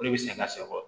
O de bɛ sɛgɛn ka se o kɔrɔ